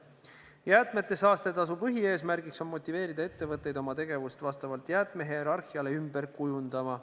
Jäätmete saastetasu põhieesmärk on motiveerida ettevõtteid oma tegevust vastavalt jäätmehierarhiale ümber kujundama.